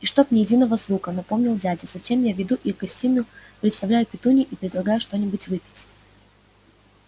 и чтоб ни единого звука напомнил дядя затем я веду их в гостиную представляю петунье и предлагаю что-нибудь выпить